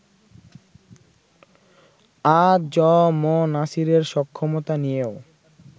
আ জ ম নাছিরের সক্ষমতা নিয়েও